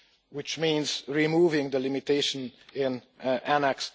which means removing the limitation in Annex